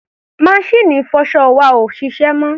Maṣíìnì ìfọṣọ wa ò ṣiṣẹ́ mọ́.